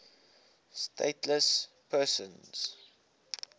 stateless persons